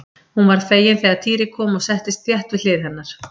Hún varð fegin þegar Týri kom og settist þétt við hlið hennar.